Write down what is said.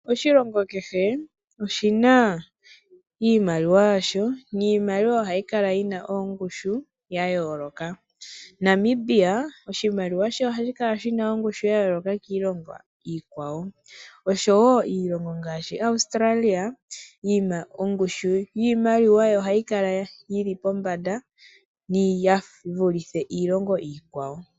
Oshilongo kehe oshina iimaliwa yasho niimaliwa ohayi kala yina ongushu ya yooloka. Namibia oshimaliwa she ohashi kala shina ongushu ya yooloka kiilongo iikwawo oshowo iilongo ngaashi Australia yina ongushi yiimaliwa hayi kala yili pombanda yivulithe iilongo iikwawo.